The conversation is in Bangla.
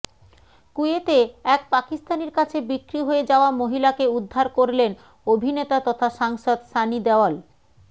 কুয়েতে এক পাকিস্তানির কাছে বিক্রি হয়ে যাওয়া মহিলাকে উদ্ধার করলেন অভিনেতা তথা সাংসদ সানি দেওল